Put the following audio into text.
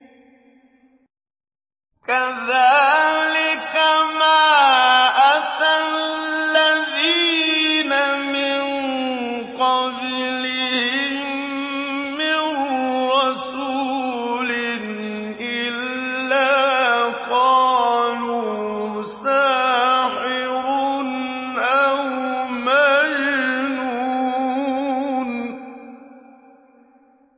كَذَٰلِكَ مَا أَتَى الَّذِينَ مِن قَبْلِهِم مِّن رَّسُولٍ إِلَّا قَالُوا سَاحِرٌ أَوْ مَجْنُونٌ